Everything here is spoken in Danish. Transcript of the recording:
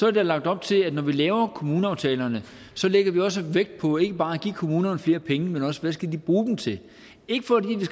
er der lagt op til at når vi laver kommuneaftalerne lægger vi også vægt på ikke bare at give kommunerne flere penge men også hvad de skal bruge dem til ikke fordi